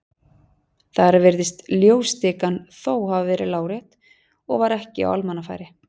Þar virðist ljósastikan þó hafa verið lárétt og var ekki á almannafæri.